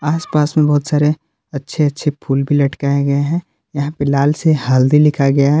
आसपास में बहुत सारे अच्छे अच्छे फूल भी लटकाए गए हैं यहां पे लाल से हल्दी लिखा गया है।